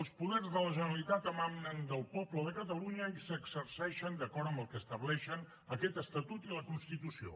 els poders de la generalitat emanen del poble de catalunya i s’exerceixen d’acord amb el que estableixen aquest estatut i la constitució